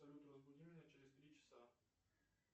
салют разбуди меня через три часа